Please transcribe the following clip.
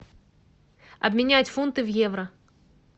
обменять фунты в евро